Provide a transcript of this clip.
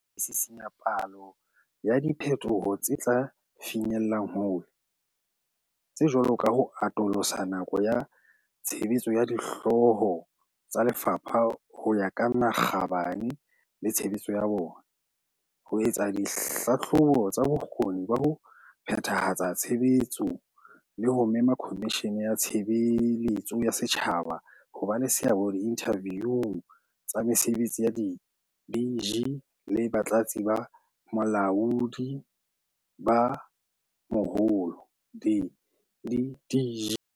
Re sisinya palo ya diphe toho tse tla finyellang hole, tse jwalo ka ho atolosa nako ya tshebetso ya Dihlooho tsa Lefapha ho ya ka makgabane le tshebetso ya bona, ho etsa dihlahlobo tsa bokgoni ba ho phethahatsa tshebetso le ho mema Komishini ya Tshe beletso ya Setjhaba ho ba le seabo diinthaviung tsa mese betsi ya di-DG le Batlatsi ba Balaodi ba Moholo, di-DDG.